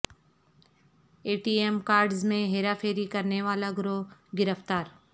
اے T M cards میں ہیرا پھیری کرنیوالا گروہ گرفتار